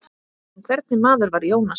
En hvernig maður var Jónas?